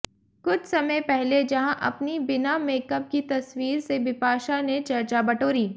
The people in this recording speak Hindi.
कुछ समय पहले जहां अपनी बिना मेकअप की तस्वीर से बिपाशा ने चर्चा बटोरी